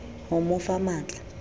ho mo fa matl a